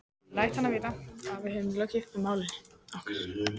Ég læt hann vita, að við höfum lokið máli okkar.